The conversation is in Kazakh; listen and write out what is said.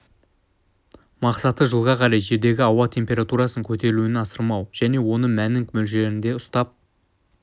мақсаты жылға қарай жердегі ауа температурасының көтерілуін асырмау және оның мәнін мөлшерінде ұстап